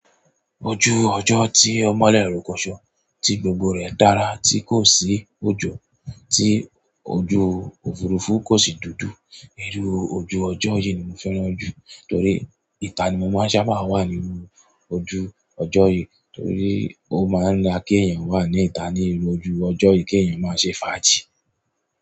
Ojú ọjọ́ tí o mọ lẹ́ rokóṣó, tí gbogbo rẹ̀ dára, tí kò sí òjò, tí ojú òfurufú kò sì dúdú. Iru ojú ọjọ́ yìí ni mo fẹ́ràn jù torí ìta ni mo máa ń sábà wà níru ojú ọjọ́ yìí torí ó máa ń da kí èèyàn wà ní ìta níru ojú ọjọ́ yìí kí èèyàn máa ṣe fàájì.